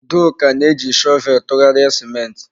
Udoka na-eji shọvel tụgharịa ciment.